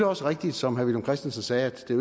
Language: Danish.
også rigtigt som herre villum christensen sagde at det